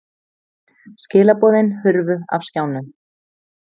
Skilaboðin hurfu af skjánum.